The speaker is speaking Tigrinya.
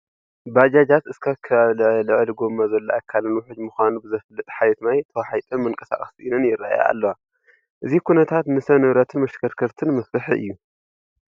ባጃጃት እስካብ ከባቢ ልዕሊ ጐማ ዘሎ ኣካለን ውሕጅ ምዃኑ ብዘፍልጥ ሓሬት ማይ ተዋሒጠን መንቀሳቐሲ ስኢነን ይረአያ ኣለዋ፡፡ እዚ ኩነታት ንሰብ ንብረትን መሽከርከርትን መፍርሒ እዩ፡፡